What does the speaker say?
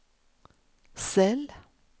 cell